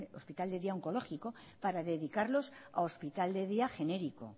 hospital de día oncológico para dedicarlos a hospital de día genérico